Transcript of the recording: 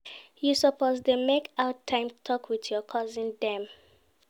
You suppose dey make out time tok wit your cousin dem.